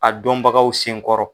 A dɔnbagaw sen kɔrɔ.